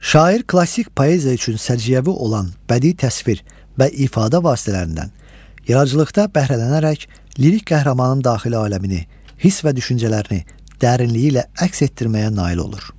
Şair klassik poeziya üçün səciyyəvi olan bədii təsvir və ifadə vasitələrindən yaradıcılıqda bəhrələnərək lirik qəhrəmanın daxili aləmini, hiss və düşüncələrini dərinliyi ilə əks etdirməyə nail olur.